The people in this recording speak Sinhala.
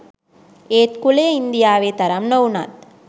ඒත් කුලය ඉංදියාවෙ තරම් නොවුනත්